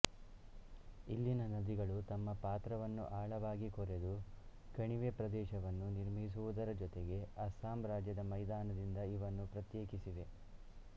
ಇಲ್ಲಿನ ನದಿಗಳು ತಮ್ಮ ಪಾತ್ರವನ್ನು ಆಳವಾಗಿ ಕೊರೆದು ಕಣವೆ ಪ್ರದೇಶವನ್ನು ನಿರ್ಮಿಸುವುದರ ಜೊತೆಗೆ ಅಸ್ಸಾಂ ರಾಜ್ಯದ ಮೈದಾನದಿಂದ ಇವನ್ನು ಪ್ರತ್ಯೇಕಿಸಿವೆ